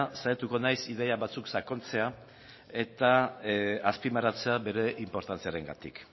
saiatuko naiz ideia batzuk sakontzea eta azpimarratzea bere inportantziarengatik